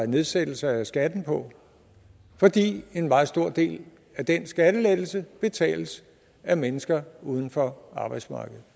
nedsættelser af skatten på fordi en meget stor del af den skattelettelse betales af mennesker uden for arbejdsmarkedet